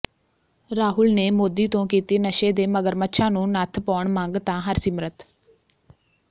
ਰਾਹੁਲ ਨੇ ਮੋਦੀ ਤੋਂ ਕੀਤੀ ਨਸ਼ੇ ਦੇ ਮਗਰਮੱਛਾਂ ਨੂੰ ਨੱਥ ਪਾਉਣ ਮੰਗ ਤਾਂ ਹਰਸਿਮਰਤ